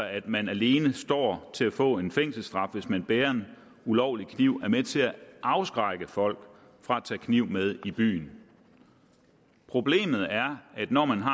at man alene står til at få en fængselsstraf hvis man bærer en ulovlig kniv er med til at afskrække folk fra at tage kniv med i byen problemet er at når man har